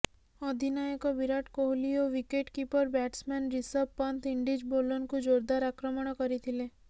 ଅଧିନାୟକ ବିରାଟ୍ କୋହଲି ଓ wicket keeper batsman Rishabh Pant Indies ବୋଲର୍କୁ ଜୋରଦାର ଆକ୍ରମଣ କରିଥିଲେ